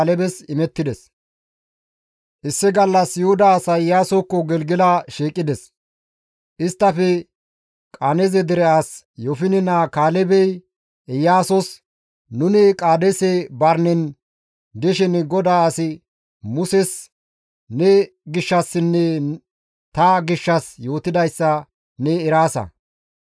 Issi gallas Yuhuda asay Iyaasokko Gelgela shiiqides; isttafe Qenaaze dere as Yoofine naa Kaalebey Iyaasos, «Nuni Qaadeese Barinen dishin GODAA as Muses ne gishshassinne ta gishshas yootidayssa ne eraasa.